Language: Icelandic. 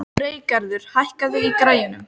Freygarður, hækkaðu í græjunum.